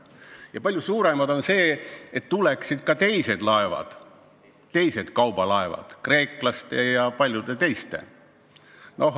Ja palju suurem eesmärk on see, et meie lipu alla tuleksid ka teised laevad, näiteks kreeklaste ja paljude teiste omad.